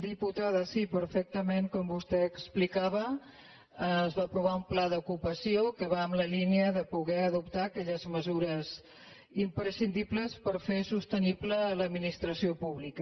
diputada sí perfectament com vostè explicava es va aprovar un pla d’ocupació que va en la línia de poder adoptar aquelles mesures imprescindibles per fer sostenible l’administració pública